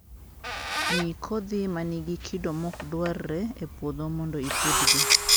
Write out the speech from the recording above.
ngii kodhi manigi kido mokdwarre e puodho mondo ipudhgi.